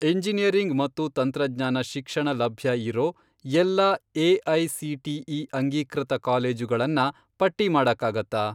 Engineering ಮತ್ತು ತಂತ್ರಜ್ಞಾನ ಶಿಕ್ಷಣ ಲಭ್ಯ ಇರೋ ಎಲ್ಲಾ ಎ.ಐ.ಸಿ.ಟಿ.ಇ. ಅಂಗೀಕೃತ ಕಾಲೇಜುಗಳನ್ನ ಪಟ್ಟಿ ಮಾಡಕ್ಕಾಗತ್ತಾ?